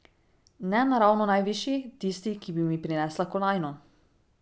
Ne na ravno najvišji, tisti, ki bi mi prinesla kolajno ...